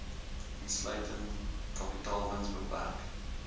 insluitend kapitaalwins beperk